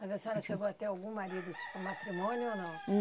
Mas a senhora chegou a ter algum marido, tipo matrimônio ou não?